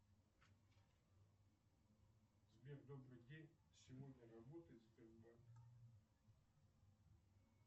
сбер добрый день сегодня работает сбербанк